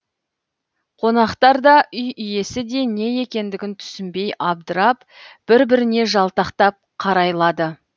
қонақтар да үй иесі де не екендігін түсінбей абдырап бір біріне жалтақтап қарайлады